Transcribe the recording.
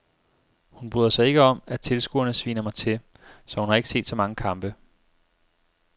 Hun bryder sig ikke om at tilskuerne sviner mig til, så hun har ikke set så mange kampe.